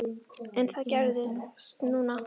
En það gerðist núna.